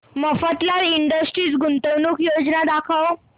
Mafatlal industries गुंतवणूक योजना दाखव